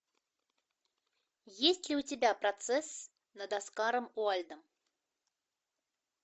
есть ли у тебя процесс над оскаром уайльдом